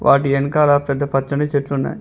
వాటి ఎనకాల పెద్ద పచ్చని చెట్లు ఉన్నాయి.